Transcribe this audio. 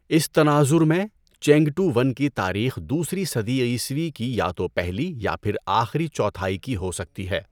اس تناظر میں، چینگٹووَن کی تاریخ دوسری صدی عیسوی کی یا تو پہلی یا پھر آخری چوتھائی کی ہو سکتی ہے۔